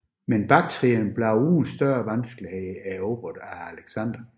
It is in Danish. Men Baktrien blev uden store vanskeligheder erobret af Alexander